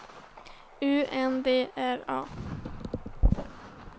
U N D R A